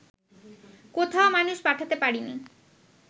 কোথাও মানুষ পাঠাতে পারিনি